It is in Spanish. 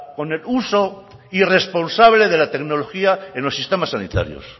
con el uso irresponsable de la tecnología en los sistemas sanitarios